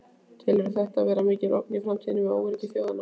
Telurðu þetta vera mikla ógn í framtíðinni við öryggi þjóða?